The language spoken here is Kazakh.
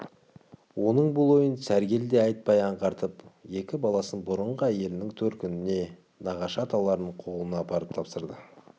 оның бұл ойын сәргел де айтпай аңғартып екі баласын бұрынғы әйелінің төркініне нағашы аталарының қолына апарып тапсырды